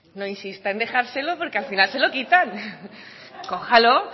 no insista en dejárselo porque al final se lo quitan cójalo